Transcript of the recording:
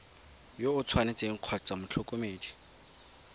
yo o tshwanetseng kgotsa motlhokomedi